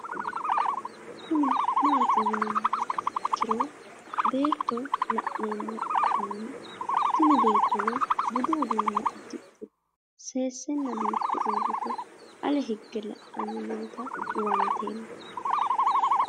Kuni mati yinumoha ikiro beeto lanemoha ikan tini beetono budu udune udixe sesena biife urite ale hige la'ani noota huwantemo?